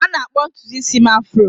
A na-akpọ ntutu isi m afro